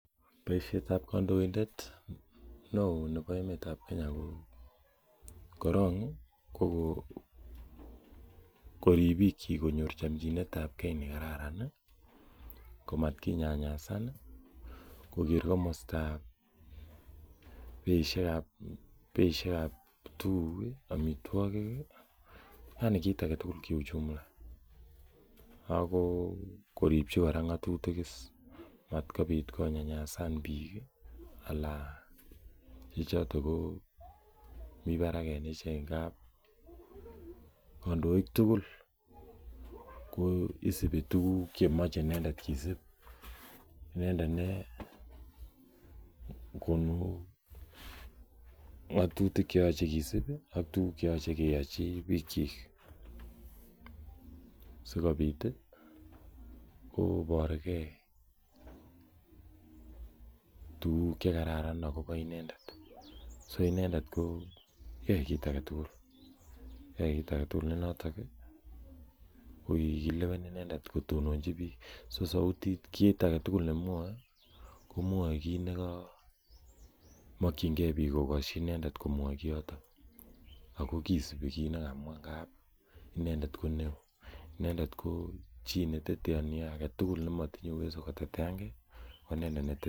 Boisiet ab kandoindet neo nebo emet ab Kenya ko korong ii ko korib bikyik konyor chomchinet ab gee nekararan ii, kotakinyayasani, koker komastab beisiek ab tuguk ii, omitwogik, yani kit agetugul kiuchumi ako koribchi kora ng'atutik is matkobit konyanyasan biik ii alan chechoton ko mi barak en ichek ng'ab kondoik tugul isibi tuguk chemoche inendet kisib, inendet negonu ng;atutik cheyoche kisib ak tuguk cheyoche keyochi biik chik, asikobit koborgee tuguk chekararan akobo inendet so inendet koyoe kit agetugul, yoe kit agetugul ne noton ii kokilewen inendet kotononchi biik, so sautik, kit agetugul nemwoe komwoe kit nemokyingen biik kokosyi inendet komwoi kiyoton ako kisibi kiit nekamwa ng'ab inendet ko neo, inendet ko chii neteteoni agetugul nemotinye uweso koteteange ko inendet neteteoni.